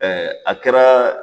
Ɛɛ a kɛra